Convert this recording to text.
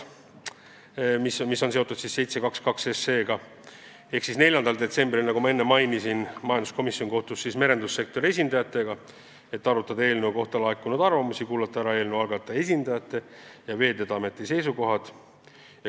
4. detsembril, nagu ma enne mainisin, kohtus majanduskomisjon merendussektori esindajatega, et arutada eelnõu kohta laekunud arvamusi, kuulata ära eelnõu algataja esindajate ja Veeteede Ameti seisukohad.